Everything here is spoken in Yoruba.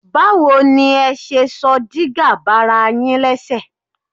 Báwo ni ẹ ṣe sọ dígà bara yín lẹ́sẹ̀?